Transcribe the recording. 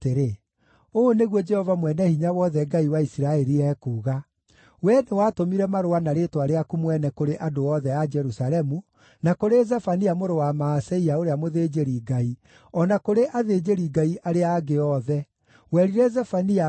“Ũũ nĩguo Jehova Mwene-Hinya-Wothe, Ngai wa Isiraeli, ekuuga: Wee nĩwatũmire marũa na rĩĩtwa rĩaku mwene kũrĩ andũ othe a Jerusalemu, na kũrĩ Zefania mũrũ wa Maaseia ũrĩa mũthĩnjĩri-Ngai, o na kũrĩ athĩnjĩri-Ngai arĩa angĩ othe. Werire Zefania atĩrĩ,